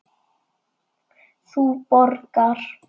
Þú borgar.